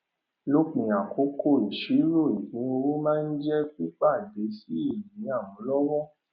lópin àkókò ìsirò ìpínowó máa jẹ pípadé sí ìní àmúlọwọ